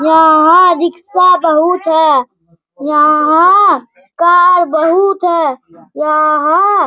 यहाँ रिक्सा बहुत है | यहाँ कार बहुत है | यहाँ --